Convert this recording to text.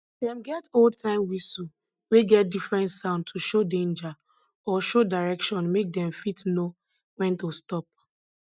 dem get oldtime whistle wey get different sound to show danger or show direction make dem fit know when to stop